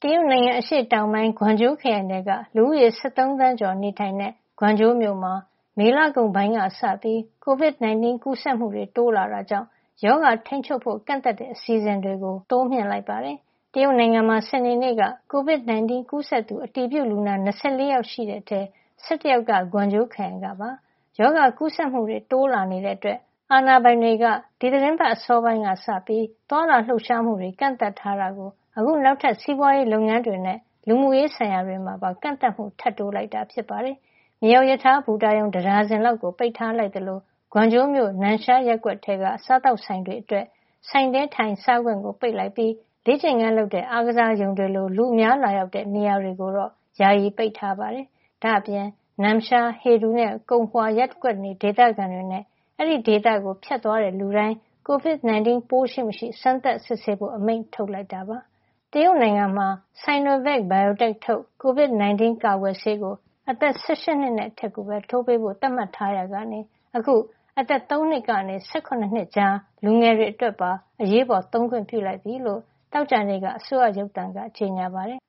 တရုတ်နိုင်ငံ အရှေ့တောင်ပိုင်း ဂွမ်ကျိုးခရိုင်ထဲက လူဦးရေ ၁၃ သန်းကျော်နေထိုင်တဲ့ ဂွမ်ကျိုးမြို့မှာ မေလကုန်ပိုင်းကစပြီး COVID-19 ကူးစက်မှုတွေ တိုးလာတာကြောင့် ရောဂါထိန်းချုပ်ဖို့ ကန့်သတ်တဲ့ အစီအစဉ်တွေကို တိုးမြှင့်လိုက်ပါတယ်။ တရုတ်နိုင်ငံမှာ စနေနေ့က COVID-19 ကူးစက်သူ အတည်ပြုလူနာ ၂၄ ယောက် ရှိခဲ့တဲ့အထဲမှာ ၁၁ ယောက်က ဂွမ်ကျိုးခရိုင်က ဖြစ်ပါတယ်။ ရောဂါကူးစက်မှုတွေ တိုးလာနေတာကြောင့် အာဏာပိုင်တွေ ဒီသီတင်းပတ် အစောပိုင်းကစလို့ သွားလာလှုပ်ရှားမှုတွေ ကန့်သတ်ထားတာကို အခု နောက်ထပ် စီးပွားရေးလုပ်ငန်းတွေနဲ့ လူမှုရေးဆိုင်ရာတွေမှာပါ ကန့်သတ်မှု ထပ်တိုးလိုက်တာ ဖြစ်ပါတယ်။ မြေအောက်ရထားဘူတာရုံ တဒါဇင်လောက်ကို ပိတ်ထားလိုက်သလို ဂွမ်ကျိုးမြို့ နမ်ရှားရပ်ကွက်ထဲက စားသောက်ဆိုင်တွေအတွက် ဆိုင်ထဲထိုင်စားခွင့် ပိတ်လိုက်ပြီး လေ့ကျင့်ခန်းလုပ်တဲ့ အားကစားရုံတွေလို လူအများလာရောက်တဲ့ နေရာတွေကိုတော့ ယာယီပိတ်ထားလိုက်ပါတယ်။ ဒါ့အပြင် နမ်ရှား၊ ဟေဒူနဲ့ ကုံဟွာ ရပ်ကွက်နေ ဒေသခံတွေနဲ့ အဲဒီဒေသကို ဖြတ်သွားတဲ့လူတိုင်း COVID-19 ပိုးရှိမရှိ စမ်းသပ်စစ်ဆေးဖို့ အမိန့်ထုတ်လိုက်တာပါ။ တရုတ်နိုင်ငံမှာ Sinovac Biotech ထုတ် COVID-19 ကာကွယ်ဆေးကို အသက် ၁၈ နှစ်နဲ့အထက်ကိုပဲ ထိုးပေးဖို့ သတ်မှတ်ထားရာကနေ အခု အသက် ၃ နှစ်ကနေ ၁၇ နှစ်ကြား လူငယ်တွေအတွက်ပါ အရေးပေါ်သုံးခွင့် ပြုလိုက်ပြီလို့ သောကြာနေ့က အစိုးရရုပ်သံက ကြေညာပါတယ်